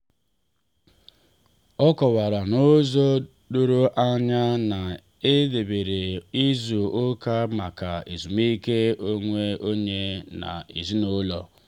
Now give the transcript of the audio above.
ọ kọwara n'ụzọ doro anya na e debeere izu ụka maka ezumike onwe onye na ezinụlọ.